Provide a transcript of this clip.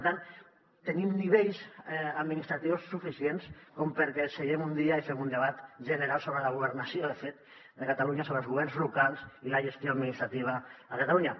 per tant tenim nivells administratius suficients com perquè seguem un dia i fem un debat general sobre la governació de fet de catalunya sobre els governs locals i la gestió administrativa a catalunya